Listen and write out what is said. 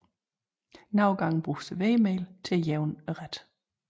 Nogle gange bruges der hvedemel til at jævne retten